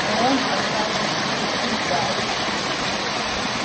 но он оставил себе путь для отступления